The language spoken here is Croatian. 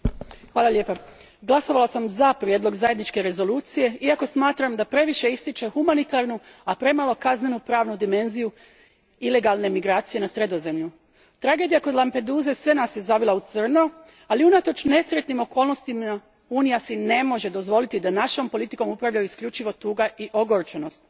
Gospodine predsjedavajući, glasovala sam za prijedlog zajedničke rezolucije iako smatram da previše ističe humanitarnu, a premalo kaznenopravnu dimenziju ilegalne migracije na Sredozemlju. Tragedija kod Lampeduse sve nas je zavila u crno, ali unatoč nesretnim okolnostima Unija si ne može dozvoliti da našom politikom upravljaju isključivo tuga i ogorčenost.